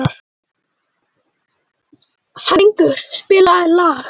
Hængur, spilaðu lag.